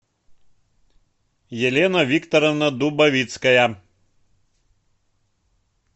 елена викторовна дубовицкая